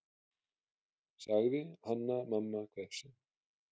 sagði Hanna-Mamma hvefsin.